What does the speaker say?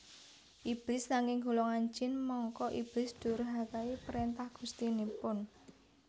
Iblis saking golongan jin mangka iblis ndhurhakai prentah gustinipun